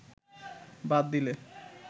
বাদ দিলে